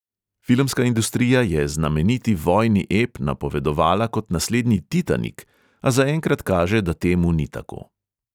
Filmska industrija je znameniti vojni ep napovedovala kot naslednji titanik, a zaenkrat kaže, da temu ni tako.